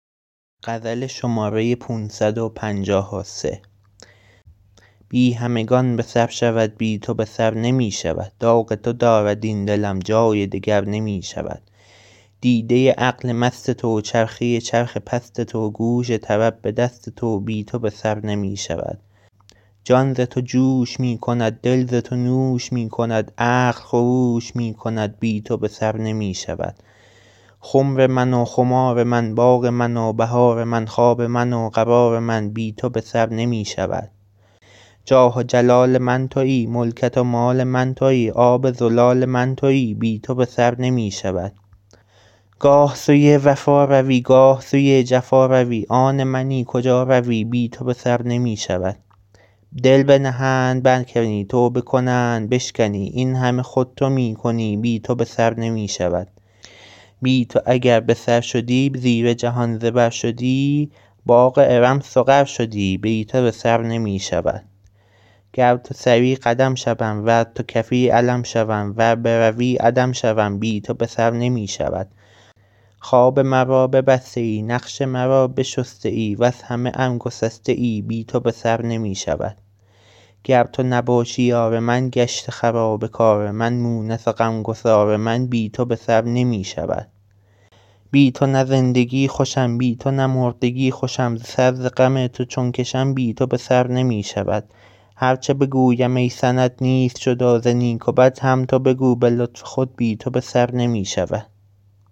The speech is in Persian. بی همگان به سر شود بی تو به سر نمی شود داغ تو دارد این دلم جای دگر نمی شود دیده عقل مست تو چرخه چرخ پست تو گوش طرب به دست تو بی تو به سر نمی شود جان ز تو جوش می کند دل ز تو نوش می کند عقل خروش می کند بی تو به سر نمی شود خمر من و خمار من باغ من و بهار من خواب من و قرار من بی تو به سر نمی شود جاه و جلال من تویی ملکت و مال من تویی آب زلال من تویی بی تو به سر نمی شود گاه سوی وفا روی گاه سوی جفا روی آن منی کجا روی بی تو به سر نمی شود دل بنهند برکنی توبه کنند بشکنی این همه خود تو می کنی بی تو به سر نمی شود بی تو اگر به سر شدی زیر جهان زبر شدی باغ ارم سقر شدی بی تو به سر نمی شود گر تو سری قدم شوم ور تو کفی علم شوم ور بروی عدم شوم بی تو به سر نمی شود خواب مرا ببسته ای نقش مرا بشسته ای وز همه ام گسسته ای بی تو به سر نمی شود گر تو نباشی یار من گشت خراب کار من مونس و غم گسار من بی تو به سر نمی شود بی تو نه زندگی خوشم بی تو نه مردگی خوشم سر ز غم تو چون کشم بی تو به سر نمی شود هر چه بگویم ای سند نیست جدا ز نیک و بد هم تو بگو به لطف خود بی تو به سر نمی شود